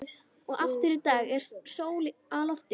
Og aftur í dag er sól á lofti.